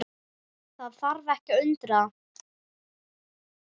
Það þarf ekki að undra.